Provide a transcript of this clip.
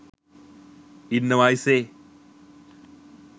ඉන්නවා අයිසෙ.